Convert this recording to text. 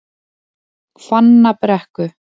Hvannabrekku